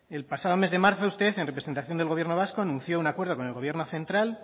el pasado mes de marzo usted en representación del gobierno vasco anunció un acuerdo con el gobierno central